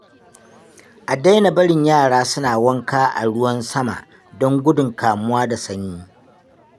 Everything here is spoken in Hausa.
A daina barin yara suna wanka a ruwan sama don gudun kamuwa da sanyi.